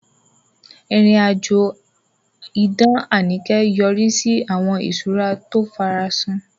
Ìrìn-àjò idán Anike yọrí sí àwọn ìṣúra tí ó farasin.